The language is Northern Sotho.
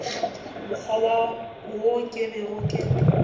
mokgwa wo ke bego ke